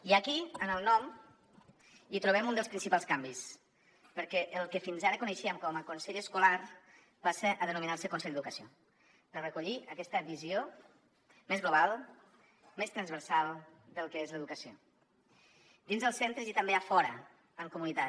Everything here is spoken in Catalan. i aquí en el nom hi trobem un dels principals canvis perquè el que fins ara coneixíem com a consell escolar passa a denominar se consell d’educació per recollir aquesta visió més global més transversal del que és l’educació dins els centres i també a fora en comunitat